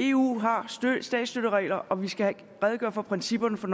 eu har statsstøtteregler og vi skal redegøre for principperne for